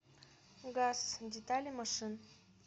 газ детали машин